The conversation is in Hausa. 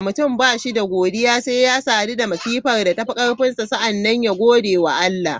Mutum ba shi da godiya, sai ya sadu da masifan da tafi karfinsa sannan ya gode wa Allah.